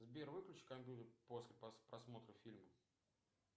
сбер выключи компьютер после просмотра фильма